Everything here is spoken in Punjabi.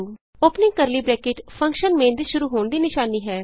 opening curly bracket function main ਦੇ ਸ਼ੁਰੂ ਹੋਣ ਦੀ ਨਿਸ਼ਾਨੀ ਹੈ